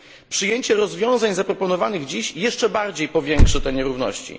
Przyjęcie rozwiązań zaproponowanych dziś jeszcze bardziej powiększy te nierówności.